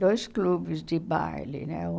Dois clubes de baile, né?